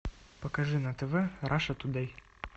покажи на тв раша тудей